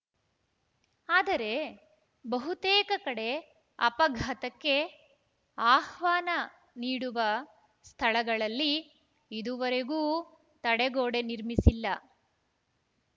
ಆದರೆ ಬಹುತೇಕ ಕಡೆ ಅಪಘಾತಕ್ಕೆ ಆಹ್ವಾನ ನೀಡುವ ಸ್ಥಳಗಳಲ್ಲಿ ಇದುವರೆಗೂ ತಡೆಗೋಡೆ ನಿರ್ಮಿಸಿಲ್ಲ